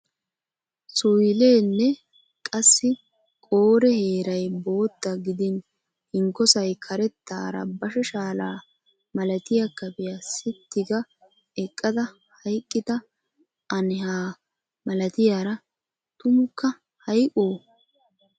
Suyilenne qassi qoore heeray bootta gidin hinkkosay karettaara bashshe shaala malatiyo kafiya sitti ga eqqada hayqqida anhaa malatiyaara tumakka hayqqo?